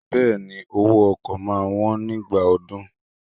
Bẹẹni, owó ọkọ̀ máa wón nígbà ọdún.